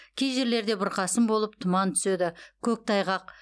кей жерлерде бұрқасын болып тұман түседі көктайғақ